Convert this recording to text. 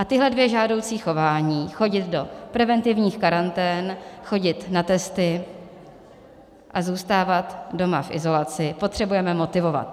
A tahle dvě žádoucí chování, chodit do preventivních karantén, chodit na testy a zůstávat doma v izolaci, potřebujeme motivovat.